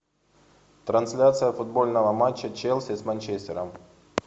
трансляция футбольного матча челси с манчестером